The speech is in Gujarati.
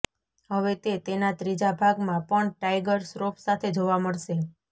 હવે તે તેના ત્રીજા ભાગમાં પણ ટાઇગર શ્રોફ સાથે જોવા મળશે